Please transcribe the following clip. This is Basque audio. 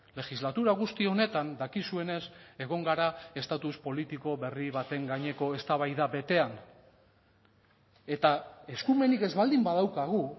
legislatura guzti honetan dakizuenez egon gara estatus politiko berri baten gaineko eztabaida betean eta eskumenik ez baldin badaukagu